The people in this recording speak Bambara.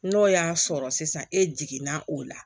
N'o y'a sɔrɔ sisan e jiginna o la